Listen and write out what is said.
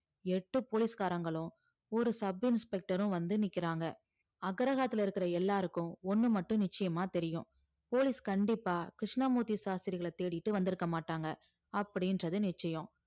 எட்டு போலீஸ்காரங்களும் ஒரு சப் இன்ஸ்பெக்டரும் வந்து நிக்கிறாங்க அக்ரஹாரத்தில இருக்கிற எல்லாருக்கும் ஒண்ணு மட்டும் நிச்சயமா தெரியும் போலீஸ் கண்டிப்பா கிருஷ்ணமூர்த்தி சாஸ்திரிகளை தேடிட்டு வந்திருக்க மாட்டாங்க அப்படின்றது நிச்சியம்